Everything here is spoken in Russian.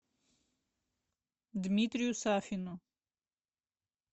дмитрию сафину